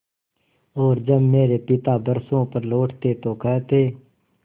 और जब मेरे पिता बरसों पर लौटते तो कहते